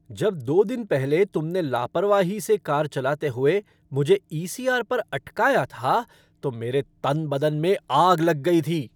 जब दो दिन पहले तुमने लापरवाही से कार चलाते हुए मुझे ईसीआर पर अटकाया था, तो मेरे तन बदन में आग लग गई थी।